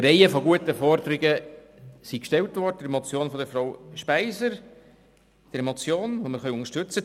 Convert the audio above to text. Eine Reihe guter Forderungen wurden in der Motion von Grossrätin Speiser gestellt, einer Motion, die wir unterstützen können.